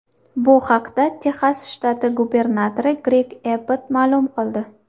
Bu haqda Texas shtati gubernatori Greg Ebbot ma’lum qildi .